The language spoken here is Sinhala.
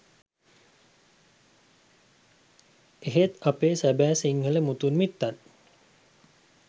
එහෙත් අපේ සැබෑ සිංහල මුතුන් මිත්තන්